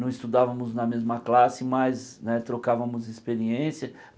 Não estudávamos na mesma classe, mas né trocávamos experiência.